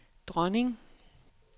dronning